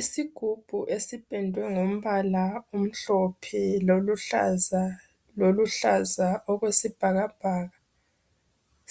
Isigubhu esipendwe ngombala omhlophe, loluhlaza ,loluhlaza okwesibhakabhaka,